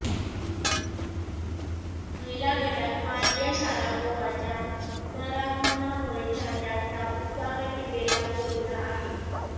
महिला गटात मारिया शारापोव्हाच्या पुनरागमनामुळे चाहत्यांचा उत्साह टिपेला पोहोचला आहे